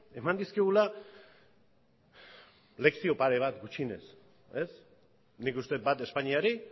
eman dizkigula lekzio pare bat gutxienez nik uste dut bat espainiari